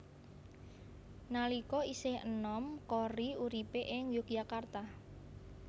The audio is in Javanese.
Nalika isih enom Korrie uripé ing Yogyakarta